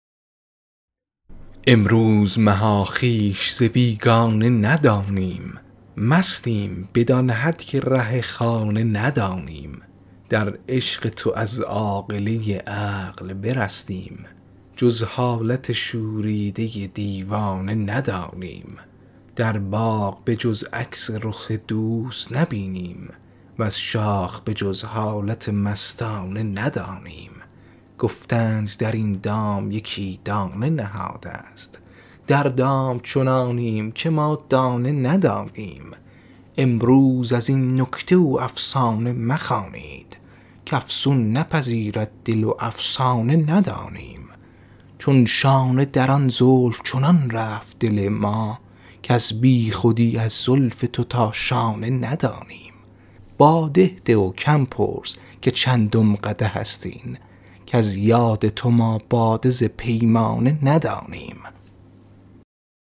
امروز مها خویش ز بیگانه ندانیم مستیم بدان حد که ره خانه ندانیم در عشق تو از عاقله عقل برستیم جز حالت شوریده دیوانه ندانیم در باغ به جز عکس رخ دوست نبینیم وز شاخ به جز حالت مستانه ندانیم گفتند در این دام یکی دانه نهاده ست در دام چنانیم که ما دانه ندانیم امروز از این نکته و افسانه مخوانید کافسون نپذیرد دل و افسانه ندانیم چون شانه در آن زلف چنان رفت دل ما کز بیخودی از زلف تو تا شانه ندانیم باده ده و کم پرس که چندم قدح است این کز یاد تو ما باده ز پیمانه ندانیم